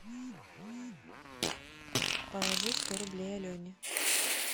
положи сто рублей алене